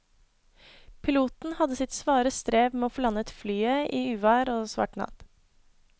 Piloten hadde sitt svare strev med å få landet flyet i uvær og svart natt.